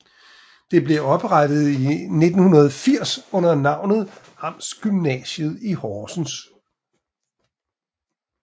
Det blev oprettet i 1980 under navnet Amtsgymnasiet i Horsens